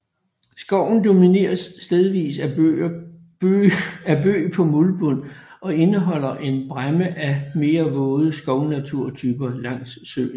Skoven domineres stedvist af bøg på muldbund og indeholder en bræmme af mere våde skovnaturtyper langs søen